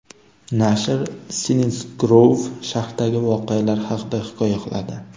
Nashr Silinsgrouv shahridagi voqealar haqida hikoya qiladi.